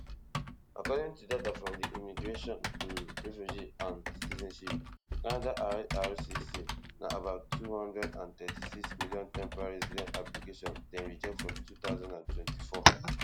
according to data from di immigration um refugee and citizenship canada ircc na about two hundred and thirty-six million temporary resident applications dem reject for two thousand and twenty-four